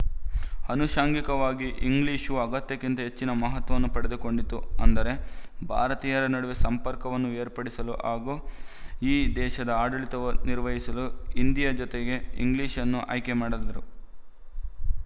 ಆನುಶಂಗಿಕವಾಗಿ English ಅಗತ್ಯಕ್ಕಿಂತ ಹೆಚ್ಚಿನ ಮಹತ್ವವನ್ನು ಪಡೆದುಕೊಂಡಿತು ಅಂದರೆ ಭಾರತೀಯರ ನಡುವೆ ಸಂಪರ್ಕವನ್ನು ಏರ್ಪಡಿಸಲು ಹಾಗೂ ಈ ದೇಶದ ಆಡಳಿತವನ್ನು ನಿರ್ವಹಿಸಲು ಹಿಂದಿಯ ಜೊತೆಗೆ ಇಂಗ್ಲಿಶ್‌ನ್ನು ಆಯ್ಕೆ ಮಾಡಿದರು